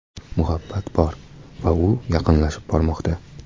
Muhabbat bor va u yaqinlashib bormoqda!